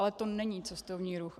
Ale to není cestovní ruch.